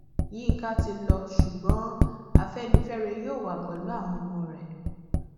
yinka ti lọ ṣùgbọn afẹnifẹre yóò wà pẹlú àwọn ọmọ rẹ